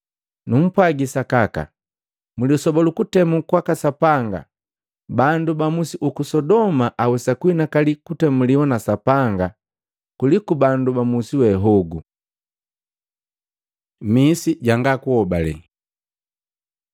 Numpwaji sakaka mlisoba lu kutemu kwaka Sapanga bandu ba musi uku Sodoma awesa kuhinakali kutemuliwa na Sapanga kuliku bandu ba musiwe hogu! Misi janga kuobale Matei 11:20-24